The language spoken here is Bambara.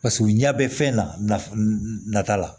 Paseke u ɲɛ bɛ fɛn nata la